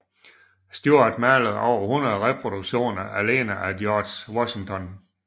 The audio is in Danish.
Stuart malede over 100 reproduktioner alene af George Washington